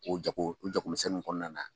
O jako u jakomisɛnniw kɔnɔna na.